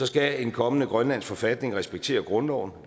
skal en kommende grønlandsk forfatning respektere grundloven